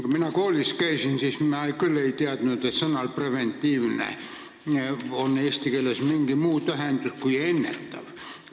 Kui mina koolis käisin, siis ma küll ei teadnud, et sõnal "preventiivne" oleks eesti keeles mingi muu tähendus kui "ennetav".